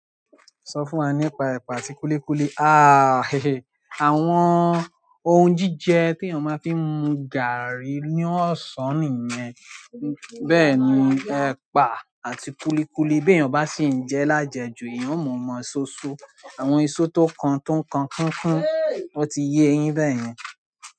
Sọ fún wa nípa ẹ̀pà àti kúlíkúlí. Ah he, àwọn ohun jíjẹ teeyàn máa fi ń mu gààrí ní ọ̀sán nìyẹn. Bẹ́ẹ̀ni, ẹ̀pà àti kúlíkúlí beeyàn bá sì jẹ́ lájẹ̀ ju, eeyan o mọ̀ọ́ mọ soso. Àwọn iso tó kan tó ń kan kúnkún, ó ti yin bẹ́ẹ̀ yen.